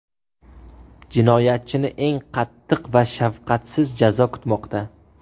Jinoyatchini eng qattiq va shafqatsiz jazo kutmoqda.